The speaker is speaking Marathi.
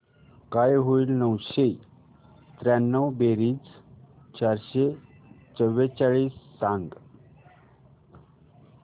काय होईल नऊशे त्र्याण्णव बेरीज चारशे चव्वेचाळीस सांग